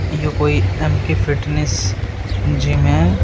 ये कोई M K fitness gym gym हैं।